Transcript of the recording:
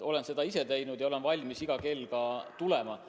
Olen seda teinud ja olen valmis iga kell uuesti tulema.